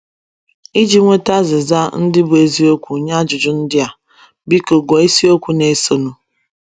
Iji nweta azịza ndị bụ́ eziokwu nye ajụjụ ndị a, biko gụọ isiokwu na - esonụ.